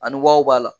Ani wariw b'a la